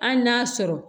Hali n'a sɔrɔ